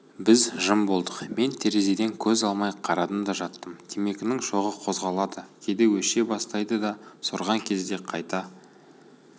біз жым болдық мен терезеден көз алмай қарадым да жаттым темекінің шоғы қозғалады кейде өше бастайды да сорған кезде қайта